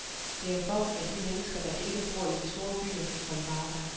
Det er for, at de mennesker, der ikke bor i de store byer, kan komme på arbejde.